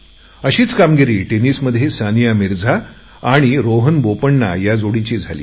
अशीच गोष्ट टेनिसमध्ये सनिया मिर्झा आणि रोहन बोपण्णा जोडीची झाली